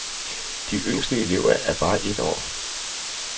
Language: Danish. De yngste elever er bare et år.